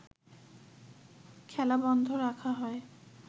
খেলা বন্ধ রাখা হয়